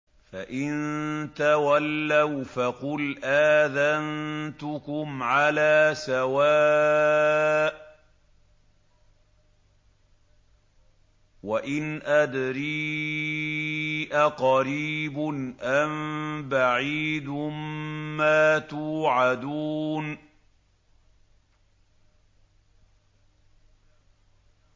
فَإِن تَوَلَّوْا فَقُلْ آذَنتُكُمْ عَلَىٰ سَوَاءٍ ۖ وَإِنْ أَدْرِي أَقَرِيبٌ أَم بَعِيدٌ مَّا تُوعَدُونَ